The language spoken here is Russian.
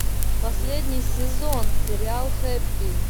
последний сезон сериал хэппи